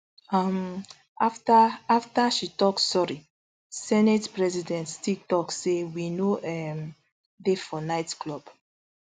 um afta afta she tok sorry senate president still tok say we no um dey for nightclub